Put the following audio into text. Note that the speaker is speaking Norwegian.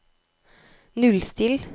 nullstill